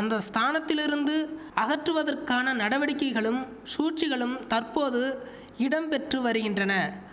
அந்த ஸ்தானத்திலிருந்து அகற்றுவதற்கான நடவடிக்கைகளும் சூழ்ச்சிகளும் தற்போது இடம் பெற்று வருகின்றன